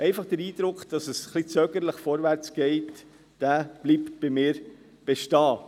Einfach der Eindruck, dass es etwas zögerlich vorwärtsgeht, bleibt bei mir bestehen.